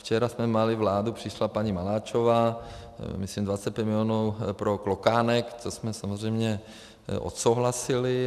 Včera jsme měli vládu, přišla paní Maláčová, myslím 25 milionů pro Klokánek, co jsme samozřejmě odsouhlasili.